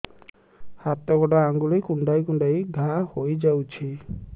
ହାତ ଗୋଡ଼ ଆଂଗୁଳି କୁଂଡେଇ କୁଂଡେଇ ଘାଆ ହୋଇଯାଉଛି